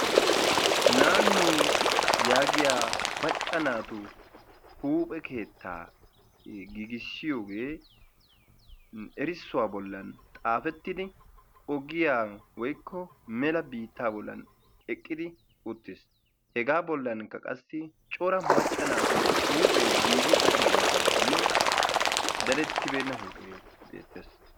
"naannu" yaagiya macca naatu huuphe keettaa giigissiyoge erissuwa bollan xaafettidi ogiya woyikko mela biittaa bollan eqqidi uttis. Hegaa bollankka qassi cora macca naatu huuphee giigi uttidaagenne dadettibeenna uttida huuphee beettes.